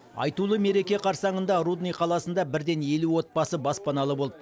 айтулы мереке қарсаңында рудный қаласында бірден елу отбасы баспаналы болды